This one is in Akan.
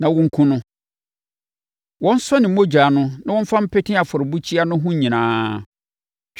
na wɔnkum no. Wɔnsɔ ne mogya no na wɔmfa mpete afɔrebukyia no ho nyinaa.